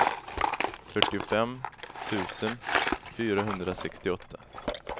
fyrtiofem tusen fyrahundrasextioåtta